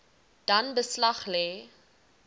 dan beslag lê